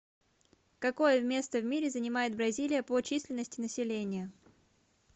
какое место в мире занимает бразилия по численности населения